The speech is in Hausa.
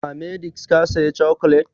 A h-medix ka saya cokolet?